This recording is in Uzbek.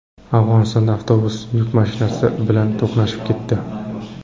Afg‘onistonda avtobus yuk mashinasi bilan to‘qnashib ketdi.